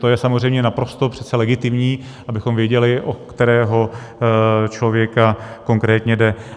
To je samozřejmě naprosto přece legitimní, abychom věděli, o kterého člověka konkrétně jde.